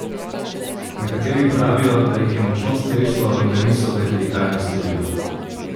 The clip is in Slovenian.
Nekateri pravijo, da jih je močno streslo in da niso vedeli, kaj naj storijo.